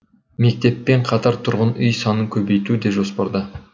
мектеппен қатар тұрғын үй санын көбейту де жоспарда